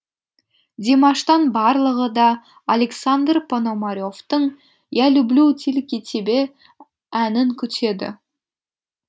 димаштан барлығы да александр пономаревтің я люблю тильки тебе әнін күтеді